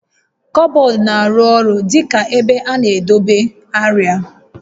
Kọbọọdụ na-arụ ọrụ dị ka ebe a na-edobe arịa